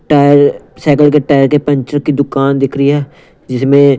tyre cycle के tyre के puncture की दुकान दिख रही है जिसमें--